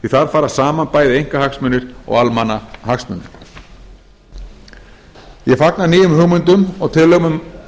þar fara saman bæði einkahagsmunir og almannahagsmunir ég fagna nýjum hugmyndum og tillögum um